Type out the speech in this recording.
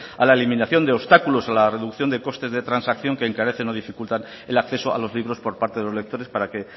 a la eliminación de obstáculos a la reducción de costes de transacción que encarece o dificultan el acceso a los libros por parte de los lectores para que